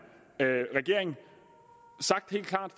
regering sagt helt klart